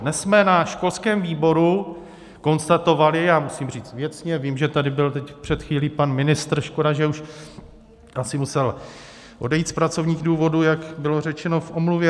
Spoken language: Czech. Dnes jsme na školském výboru konstatovali - a musím říct věcně, vím, že tady byl teď před chvílí pan ministr, škoda, že už... asi musel odejít z pracovních důvodů, jak bylo řečeno v omluvě.